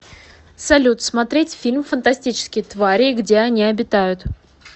салют смотреть фильм фантастические твари и где они обитают